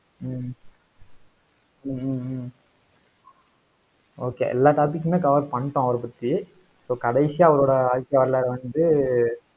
ஹம் hmm hmm hmm okay எல்லா topic உமே cover பண்ணிட்டோம் அவரைப் பத்தி. so கடைசியா அவரோட